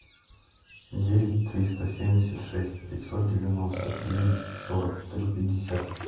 девять триста семьдесят шесть пятьсот девяносто девять сорок три пятьдесят